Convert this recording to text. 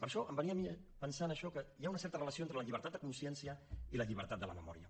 per això em venia a mi pensant això que hi ha una certa relació entre la llibertat de consciència i la llibertat de la memòria